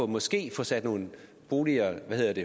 måske at få sat nogle